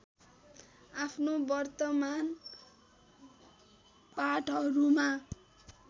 आफ्नो वर्तमान पाटहरूमा